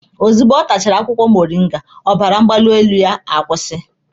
Ozugbo ọ tachara akwụkwọ moringa, ọbara mgbali elu ahụ kwụsịrị